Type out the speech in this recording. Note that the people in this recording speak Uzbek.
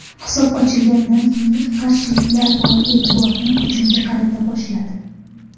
Hisob ochilganidan keyin qarshiliklar bor e’tiborni hujumga qarata boshladi.